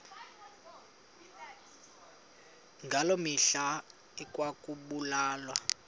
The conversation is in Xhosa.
ngaloo mihla ekwakubulawa